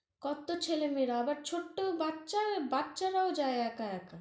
কত্ত ছেলে মেয়েরা, আবার ছোট্ট বাচ্চার~ বাচ্চারাও যায় একা একা